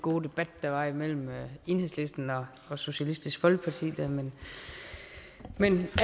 gode debat der var mellem enhedslisten og socialistisk folkeparti men